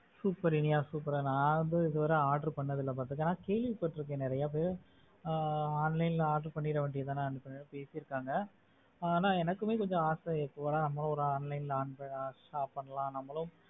super Iniya super நான் வந்து இது வர order பண்ணத்தில but ஆனா கேள்விப்பட்டிருக்க நிறையவே ஆஹ் online ல order பண்ணிட வேண்டியதுதானே சொல்லி இருக்காங்க நான் எனக்குமே கொஞ்சம் ஆசை எப்போவாவது online ல order பண்ணலாம் நம்மலும்